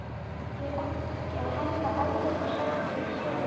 Af hverju ekki að henda Evrópusæti fyrir sigur?